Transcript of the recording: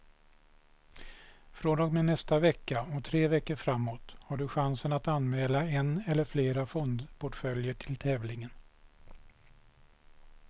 Från och med nästa vecka och tre veckor framåt har du chansen att anmäla en eller flera fondportföljer till tävlingen.